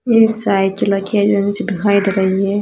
ये साइकिला की एजेंसी दिखाई दे रही है।